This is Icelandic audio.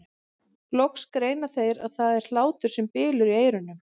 Loks greina þeir að það er hlátur sem bylur í eyrunum.